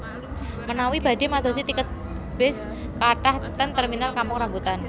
Menawi badhe madosi tiket bis kathah ten terminal Kampung Rambutan